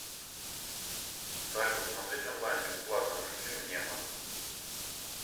салют смотреть онлайн бесплатно мультфильм немо